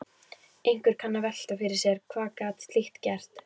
Einhver kann að velta fyrir sér: Hvernig gat slíkt gerst?